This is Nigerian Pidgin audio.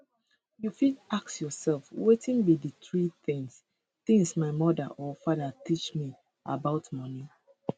you fit ask yourself wetin be di three tins tins my mother or father teach me about money